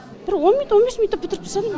бір он минут он бес минутта бітіріп тастадым